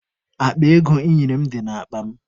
Akpa ego ị nyere m dị n'akpa m.